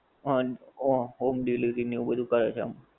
હં ઓ home delivery ને એવું બધુ કરે છે.